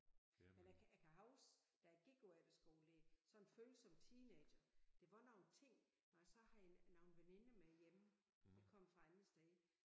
Men jeg kan jeg kan huske da jeg gik på efterskole sådan følsom teenager der var nogle ting når jeg så havde nogle veninder med hjemme der kom fra andet sted